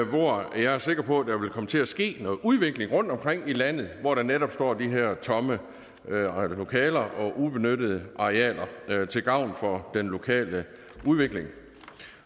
hvor jeg er sikker på der vil komme til at ske noget udvikling rundtomkring i landet hvor der netop står de her tomme lokaler og ubenyttede arealer til gavn for den lokale udvikling